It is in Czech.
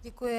Děkuji.